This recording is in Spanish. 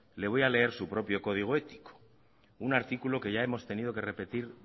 le voy a leer su propio código ético un artículo que ya hemos tenido que repetir